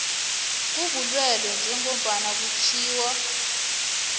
kobulwelwe njengombana kutjhiwo